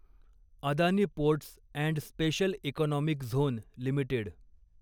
Adani ports and special economic zone limited